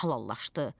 halallaşdı.